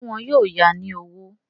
Ṣé wọn yóò ya ní owó?